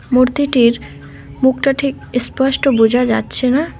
মূর্তিটির মুখটা ঠিক ইস্পষ্ট বোঝা যাচ্ছে না।